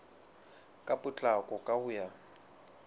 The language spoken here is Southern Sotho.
ka potlako ka ho ya